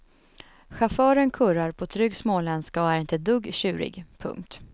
Chauffören kurrar på trygg småländska och är inte ett dugg tjurig. punkt